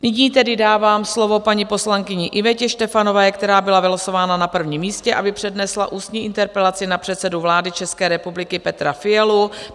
Nyní tedy dávám slovo paní poslankyni Ivetě Štefanové, která byla vylosována na prvním místě, aby přednesla ústní interpelaci na předsedu vlády České republiky Petra Fialu.